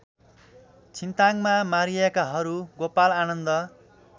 छिन्ताङमा मारिएकाहरू गोपालआनन्द